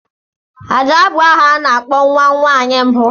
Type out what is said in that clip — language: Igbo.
Ada bụ aha a na-akpọ nwa nwaanyị mbụ.